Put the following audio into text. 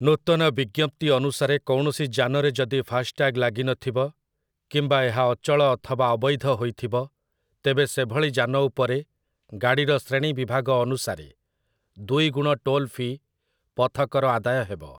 ନୂତନ ବିଜ୍ଞପ୍ତି ଅନୁସାରେ କୌଣସି ଯାନରେ ଯଦି ଫାସ୍‌ଟ୍ୟାଗ୍ ଲାଗିନଥିବ କିମ୍ବା ଏହା ଅଚଳ ଅଥବା ଅବୈଧ ହୋଇଥିବ, ତେବେ ସେଭଳି ଯାନ ଉପରେ ଗାଡ଼ିର ଶ୍ରେଣୀ ବିଭାଗ ଅନୁସାରେ ଦୁଇଗୁଣ ଟୋଲ୍ ଫି ପଥକର ଆଦାୟ ହେବ ।